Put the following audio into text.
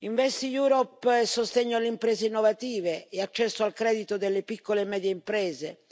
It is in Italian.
InvestEU è sostegno alle imprese innovative e accesso al credito delle piccole e medie imprese.